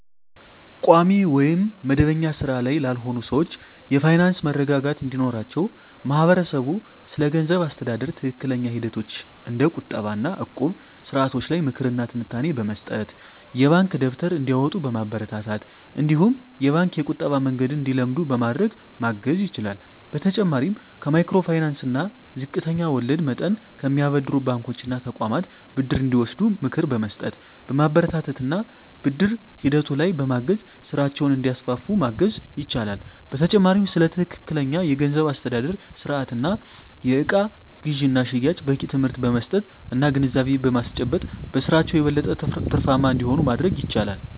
ቋሚ ወይም መደበኛ ሥራ ላይ ላልሆኑ ሰዎች የፋይናንስ መረጋጋት እንዲኖራቸው ማህበረሰቡ ስለገንዘብ አስተዳደር ትክክለኛ ሂደቶች እንደ ቁጠባ እና እቁብ ስርዓቶች ላይ ምክር እና ትንታኔ በመስጠት፣ የባንክ ደብተር እንዲያወጡ በማበረታታት እነዲሁም የባንክ የቁጠባ መንገድን እንዲለምዱ በማድረግ ማገዝ ይችላል። በተጨማሪም ከማይክሮ ፋይናንስ እና ዝቅተኛ ወለድ መጠን ከሚያበድሩ ባንኮች እና ተቋማት ብድር እንዲወስዱ ምክር በመስጠት፣ በማበረታታት እና ብድር ሂደቱ ላይም በማገዝ ስራቸውን እንዲያስፋፉ ማገዝ ይቻላል። በተጨማሪም ስለ ትክክለኛ የገንዘብ አስተዳደር ስርአት እና የእቃ ግዥና ሽያጭ በቂ ትምህርት በመስጠት እና ግንዛቤ በማስጨበጥ በስራቸው የበለጠ ትርፋማ እንዲሆኑ ማድረግ ይቻላል።